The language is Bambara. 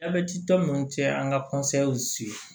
A bɛtitɔ ninnu cɛ an ka